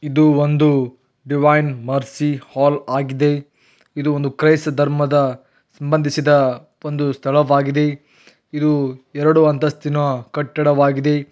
ಇದು ಒಂದು divine mercy hall ಆಗಿದೆ ಇದು ಒಂದು ಕ್ರೈಸ್ತ ಧರ್ಮದ ಸಂಬಂಧಿಸಿದ ಒಂದು ಸ್ಥಳ ವಾಗಿದೆ ಇದು ಎರಡು ಅಂತಸ್ತಿನ ಕಟ್ಟಡವಾಗಿದೆ.